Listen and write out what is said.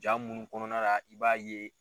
Jaa munnu kɔnɔna la i b'a ye